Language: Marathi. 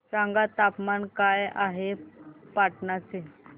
सांगा तापमान काय आहे पाटणा चे